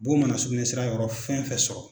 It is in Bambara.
Bon mana sugunɛsira yɔrɔ fɛn fɛn sɔrɔ